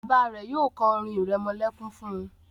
bàbá rẹ yóò ko orin iremolekun fún.